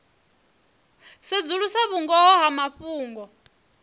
u sedzulusa vhungoho ha mafhungo